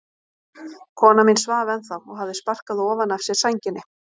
Kona mín svaf ennþá og hafði sparkað ofan af sér sænginni.